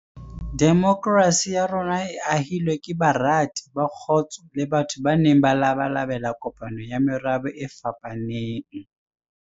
Demokrasi ya rona e ahilwe ke barati ba kgotso le batho ba neng ba labalabela kopano ya merabe e fapaneng.